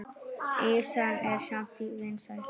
Ýsan er samt vinsæl.